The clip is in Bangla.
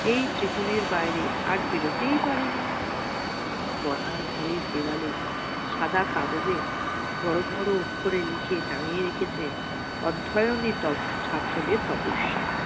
এই ত্রিকোণের বাইরে আর বিরতি পারেনি । পড়ার ঘরে দেওয়ালে সাদা কাগজের বড় বড় অক্ষরে লিখে টাঙিয়ে রেখেছেন অধ্যায়নে তব ছাত্রদের তপস্যা।